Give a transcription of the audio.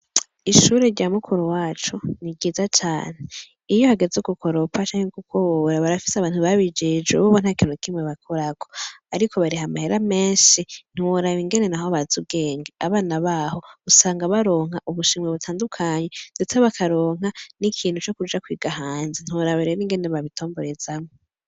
Ishure rya mukuru wacu ni ryiza cane, iyo hageze gukoropa canke gukubura barafis'abantu babijejwe bobo ntakintu nakimwe bakorako, ariko barih'amahera menshi ntiworab'ingene naho baz'ubwenge, abana nah'usanga baronk'ubushimwe butandukanye, ndetse ba karonka n'ikintu cukuja kwiga hanze, ntiworaba rero ingene babitomborezamwo babitombore